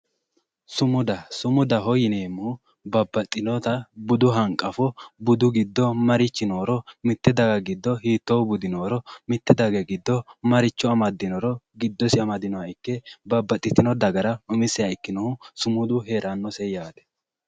Sumudaho yoneemmohu babbaxxinota budu hanqafo marichi noori mittee daga giddo hiittoo budi nooro mitte daga giddo maricho amaddinoro giddosi amadinoha ikke mite dagara babbaxxinohu umiseha ikkinohu sumudu heerannose yaate